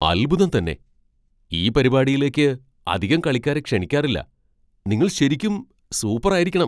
അത്ഭുതം തന്നെ ! ഈ പരിപാടിയിലേക്ക് അധികം കളിക്കാരെ ക്ഷണിക്കാറില്ല. നിങ്ങൾ ശരിക്കും സൂപ്പറായിരിക്കണം!